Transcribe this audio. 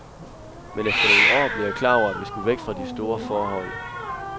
Men efter nogle år blev jeg klar over, at vi skulle væk fra de store forhold.